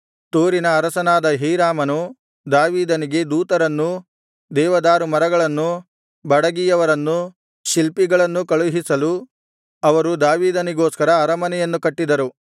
ತೂರಿನ ಅರಸನಾದ ಹೀರಾಮನು ದಾವೀದನಿಗೆ ದೂತರನ್ನೂ ದೇವದಾರುಮರಗಳನ್ನೂ ಬಡಗಿಯವರನ್ನೂ ಶಿಲ್ಪಿಗಳನ್ನೂ ಕಳುಹಿಸಲು ಅವರು ದಾವೀದನಿಗೋಸ್ಕರ ಅರಮನೆಯನ್ನು ಕಟ್ಟಿದರು